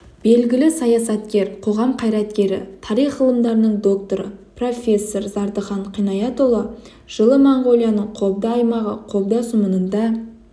белгілі саясаткер қоғам қайраткері тарих ғылымдарының докторы профессор зардыхан қинаятұлы жылы моңғолияның қобда аймағы қобда сұмынында